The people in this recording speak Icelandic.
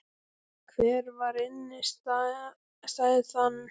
Hver var innistæðan?